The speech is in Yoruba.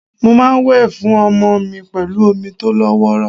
Mo máa ń wẹ̀ fún ọmọ mi pẹ̀lú omi tó lọ́wọ́rọ́.